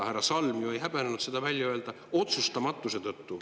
Härra Salm ju ei häbenenud seda välja öelda: otsustamatuse tõttu.